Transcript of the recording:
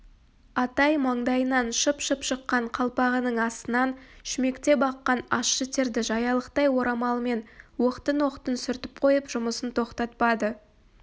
атай маңдайынан шып-шып шыққан қалпағының астынан шүмектеп аққан ащы терді жаялықтай орамалымен оқтын-оқтын сүртіп қойып жұмысын тоқтатпады